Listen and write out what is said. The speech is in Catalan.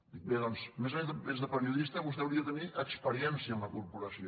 dic bé doncs a més a més de periodista vostè hauria de tenir experiència en la corporació